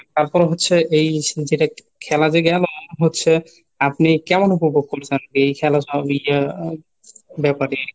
তারপর হচ্ছে এই যেটা খেলা যে জ্ঞান হচ্ছে আপনি কেমন উপভোগ করছেন? এই খেলা ব্যাপারে